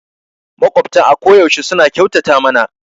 Maƙwabtan a koyaushe suna kyautata mana